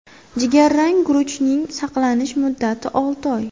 Jigarrang guruchning saqlanish muddati olti oy.